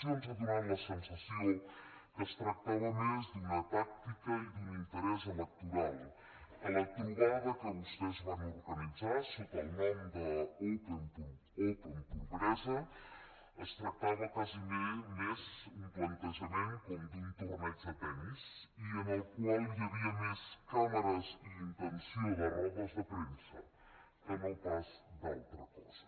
ens ha donat la sensació que es tractava més d’una tàctica i d’un interès electoral que la trobada que vostès van organitzar sota el nom d’open pobresa es tractava gairebé més d’un plantejament com d’un torneig de tennis i en el qual hi havia més càmeres i intenció de rodes de premsa que no pas d’altra cosa